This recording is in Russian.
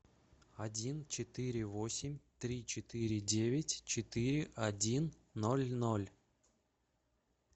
один четыре восемь три четыре девять четыре один ноль ноль